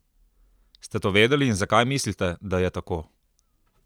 Ste to vedeli in zakaj mislite, da je tako?